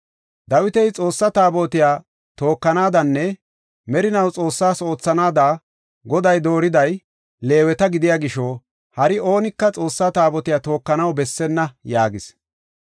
Dawiti, “Xoossa Taabotiya tookanaadanne merinaw Xoossas oothanaada Goday dooriday Leeweta gidiya gisho hari oonika Xoossa Taabotiya tookanaw bessenna” yaagis.